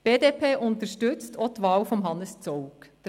Die BDP unterstützt auch die Wahl von Hannes Zaugg.